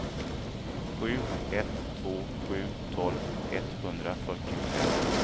sju ett två sju tolv etthundrafyrtiofem